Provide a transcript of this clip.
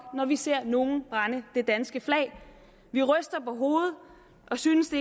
når vi ser nogle brænde det danske flag vi ryster på hovedet og synes